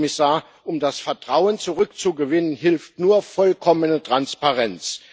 Herr Kommissar, um das Vertrauen zurückzugewinnen, hilft nur vollkommene Transparenz.